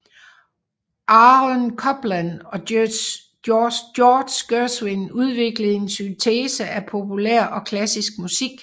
Aaron Copland og George Gershwin udviklede en syntese af populær og klassisk musik